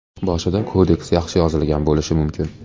Boshida kodeks yaxshi yozilgan bo‘lishi mumkin.